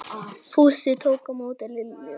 Fúsi tók á móti Lillu.